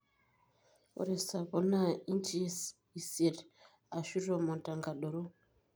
ore sapo na inches esiet ashu tomon tenkadoro.